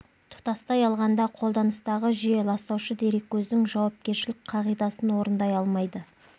тұтастай алғанда қолданыстағы жүйе ластаушы дереккөздің жауапкершілік қағидасын орындай алмайды